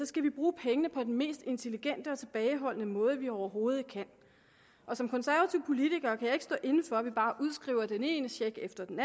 skal vi bruge pengene på den mest intelligente og tilbageholdende måde vi overhovedet kan og som konservativ politiker kan jeg ikke stå inde for at vi bare udskriver den ene check efter den